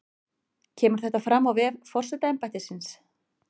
Kemur þetta fram á vef forsetaembættisins